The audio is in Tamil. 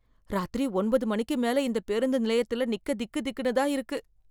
ராத்திரி ஒன்பது மணிக்கு மேல இந்த பேருந்து நிலையத்துல நிக்க திக் திக்குன்னு தான் இருக்கு.